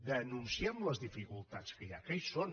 denunciem les dificultats que hi ha que hi són